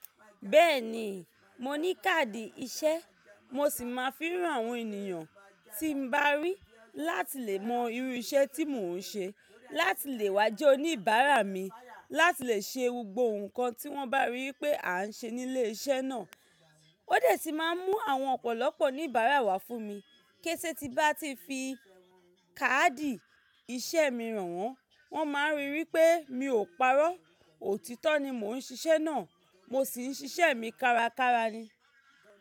Ibẹ́erẹ̀ ni, mo ní káàdì iṣẹ́, mo sì máa fi han àwọn ènìyàn tí n bá rí láti lè mọ irú iṣẹ́ tí mò ń ṣe, láti lè wá jẹ́ oníbàárà mi, láti lè ṣe gbogbò nǹkan tí wọ́n bá ríi pé à ń ṣe nílé iṣẹ́ náà. Ó de sí máa ń mú àwọn ọ̀pọ̀lọpọ̀ oníbàárà wá fún mi. Késè tí n bá ti fi káàdì iṣẹ́ mi hàn wọ́n, wọ́n máa rí wipé mi ò parọ́, òtítọ́ ni mò ń ṣiṣẹ́ náà, mo sì ń ṣiṣẹ́ mi kárakára ni.